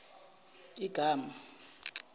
igama